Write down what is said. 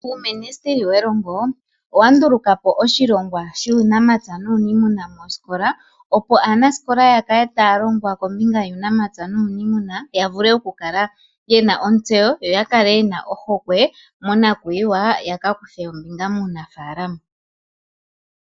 Uuministili we longo owa ndulukapo oshilogwa shuunamapya nuniimuna moosikola, opo aanasikola ya kale taya longwa kombinga yuunapya nuniimuna, yavule okukala yena oontseyo, yo yakale yena ohokwe mo nakuyiwa, ya ka kuthe ombinga muunafalama.